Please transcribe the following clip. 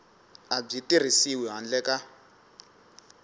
a byi tirhisiwi handle ka